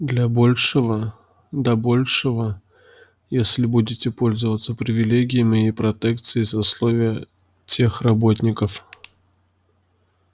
для большего до большего если будете пользоваться привилегиями и протекцией сословия техработников